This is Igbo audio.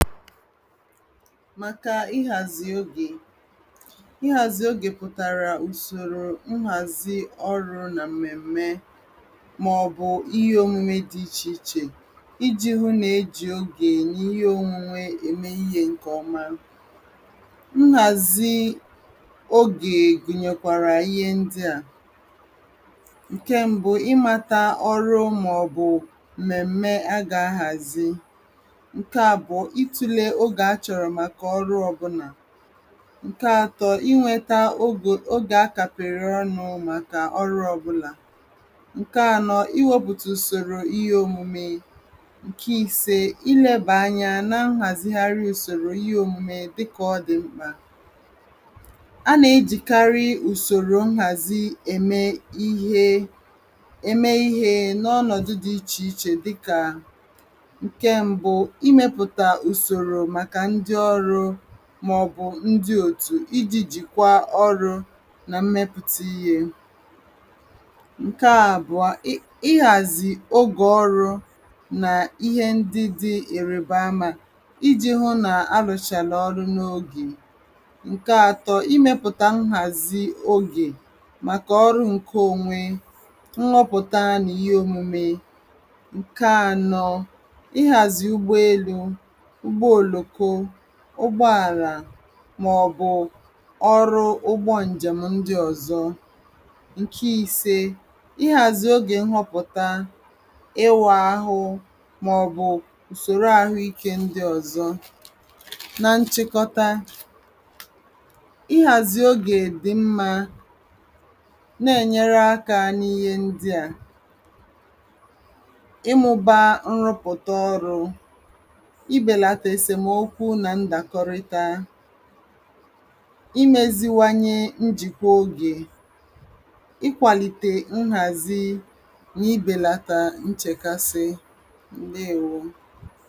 Màkà ịhàzì ogè. ɪ̣hàzì ogè pụ̀tàrà ùsòrò nhàzi ọrụ̄ nà m̀mèm̀me màọ̀bụ̀ ihe omume dị̄ ichè ichè ijī hụ nà ejì ogè nà ihe ònwunwe ème ihē ǹkè ọma. nhàzi ogè gụ̀nyèkwàrà ihe ndị à: ǹke mbụ ịmāta ọrụ màọ̀bụ̀ m̀mèm̀me agà-ahàzi. ǹke àbụ̀ọ, itūle ogè achọ̀rọ̀ màkà ọrụ ọbụ̄nà. ǹke atọ inwēta ogò ogè akàpèrè ọnụ̄ màkà ọrụ ọbụlà. ǹke anọ iwēpụ̀tà ùsòrò ihe omume. ǹke ise, ilēbà anyā na nhàzigharị ùsòrò ihe omume dị kà ọdị̀ mkpà. anà-ejìkarị ùsòrò nhàzi ème ihe ème ihē n'ọnọ̀dụ̀ dị ichè ichè dị kà: ǹke mbụ, imēpụ̀tà ùsòrò màkà ndị ọrụ̄ màọ̀bụ̀ ndị òtù ijī jìkwa ọrụ̄ nà mmepụ̀ta ihē. ǹke àbụ̀a ị ịhàzì ogè ọrụ̄ nà ihe ndị dị ìrìbamā ijī hụ nà arụ̀chàrà ọrụ n’ogè. ǹke atọ imēpụ̀tà nhàzi ogè màkà ọrụ ǹke onwe nhụpụ̀tara nà ihe omume. ǹke anọ ịhàzì ụgbọelū, ụgbọòlòko ụgbọàlà màọ̀bụ̀ ọrụ ụgbọ ǹjèm ndị ọ̀zọ. ǹke ise ịhàzì ogè nhọpụ̀ta, ịwụ̄ ahụ màọ̀bụ̀ ùsòro àhụikē ndị ọ̀zọ. na nchikọta ịhàzì ogè dị mmā na-ènyere akā n’ihe ndị à: ịmụ̄ba nrụpụ̀ta ọrụ̄, ibèlàtà èsèmokwu nà ndàkọrita, imēziwanye njìkọ ogè, ịkwàlìtè nhàzi nà ibèlàtà nchèkasi. ǹdeèwo